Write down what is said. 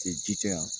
ji tɛ yan